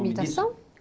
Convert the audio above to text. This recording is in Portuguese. Imitação?